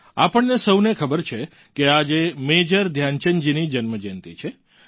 આપણને સહુને ખબર છે કે આજે મેજર ધ્યાનચંદજીની જન્મ જયંતિ છે